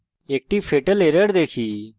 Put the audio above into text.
আমরা একটি fatal error দেখি